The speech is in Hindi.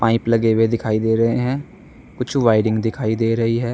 क्लिप लगे हुए दिखाई दे रहे हैं कुछ वायरिंग दिखाई दे रही है।